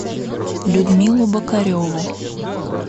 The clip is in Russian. людмилу бокареву